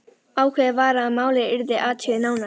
Ákveðið var að málið yrði athugað nánar.